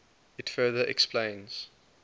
it further explains